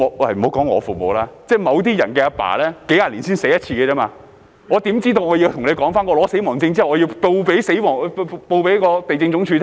莫說我父母，即某些人的父親，數十年只會死一次，他們怎會知道領取了死亡證後要向地政總署申報呢？